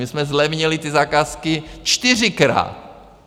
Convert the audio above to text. My jsme zlevnili ty zakázky čtyřikrát.